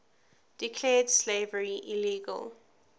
declared slavery illegal